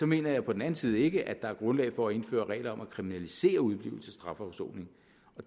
mener jeg på den anden side ikke at der er grundlag for at indføre regler om at kriminalisere udeblivelse fra strafafsoning